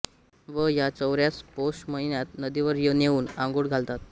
व ह्या चवऱ्यास पौष महिन्यात नदीवर नेऊन आंघोळ घालतात